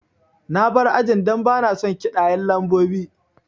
Na bar ajin dan bana son kiɗaye lambobi